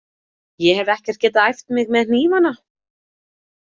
Ég hef ekkert getað æft mig með hnífana.